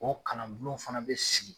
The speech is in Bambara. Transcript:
O kalan bulon fana be sigi.